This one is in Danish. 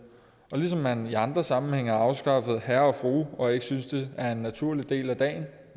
ligesom man i andre sammenhænge har afskaffet herre og fru og ikke synes det er en naturlig del af dagen